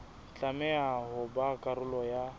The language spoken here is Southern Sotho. tlameha ho ba karolo ya